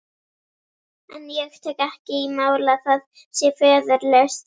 En ég tek ekki í mál að það sé föðurlaust.